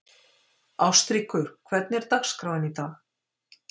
Ástríkur, hvernig er dagskráin í dag?